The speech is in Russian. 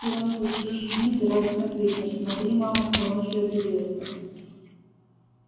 ты рон побежишь вниз и радостно крикнешь смотри мама кто ночью объявился